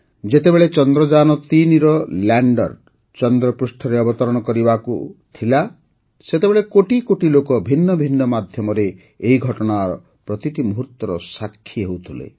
ଯେତେବେଳେ ଚନ୍ଦ୍ରଯାନ୩ ର ଲ୍ୟାଣ୍ଡର୍ ଚନ୍ଦ୍ରପୃଷ୍ଠରେ ଅବତରଣ କରିବାକୁ ଥିଲା ସେତେବେଳେ କୋଟି କୋଟି ଲୋକ ଭିନ୍ନ ଭିନ୍ନ ମାଧ୍ୟମରେ ଏହି ଘଟଣାର ପ୍ରତିଟି ମୁହୁର୍ତ୍ତର ସାକ୍ଷୀ ହେଉଥିଲେ